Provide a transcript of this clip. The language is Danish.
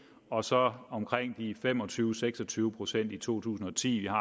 og så blev omkring fem og tyve til seks og tyve procent i to tusind og ti vi har